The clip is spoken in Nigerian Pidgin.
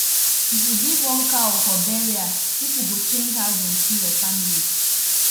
if you give one cow for burial people go change how dem see your family